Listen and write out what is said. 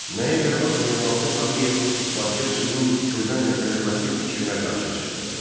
Nəyə görə Hacı Zeynalabdin Tağıyev Bakıya suyun Kürdən gətirilməsi fikrinə qarşı çıxdı?